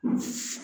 Unhun